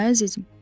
Hə, əzizim.